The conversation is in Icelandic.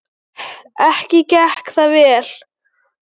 Ekki gekk það vel.